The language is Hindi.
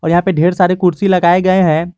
यहां पे ढेर सारे कुर्सी लगाए गए हैं।